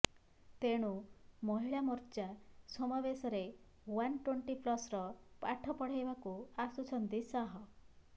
ତେଣୁ ମହିଳା ମୋର୍ଚ୍ଚା ସମାବେଶରେ one twenty ପ୍ଲସର ପାଠ ପଢାଇବାକୁ ଆସୁଛନ୍ତି ଶାହ